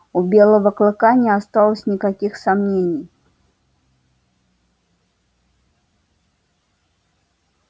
у белого клыка не осталось никаких сомнений